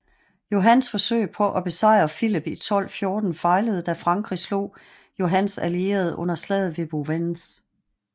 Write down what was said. Johans forsøg på at besejre Filip i 1214 fejlede da frankrig slog Johans allierede under slaget ved Bouvines